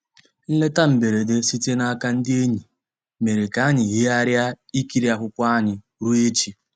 Nlétà mbèredè sìtèrè n'àka ndí ényì mèrè kà ànyị́ yìghàrị̀rị́ ìkìrí akwụ́kwọ́ ànyị́ rùó èchì.